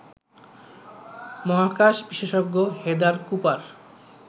মহাকাশ বিশেষজ্ঞ Heather Cooper